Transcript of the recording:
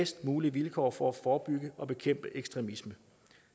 bedst mulige vilkår for at forebygge og bekæmpe ekstremisme